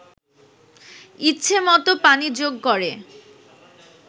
ইচ্ছে মতো পানি যোগ করে